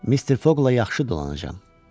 Mr Foqla yaxşı dolanacam.